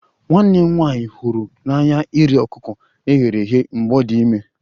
Nwanne m nwanyị hụrụ n'anya iri ọkụkọ e ghere eghe mgbe ọ dị ime